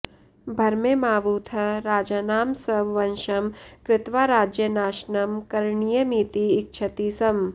भरमेमावूतः राजानं स्ववशं कृत्वा राज्यनाशनं करणीयमिति इच्छति स्म